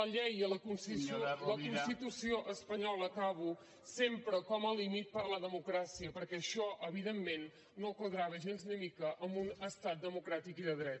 la constitució espanyola acabo sempre com a límit per a la democràcia perquè això evidentment no quadrava gens ni mica amb un estat democràtic i de dret